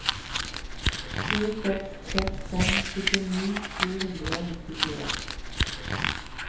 sju seks seks fem syttini sju hundre og nittifire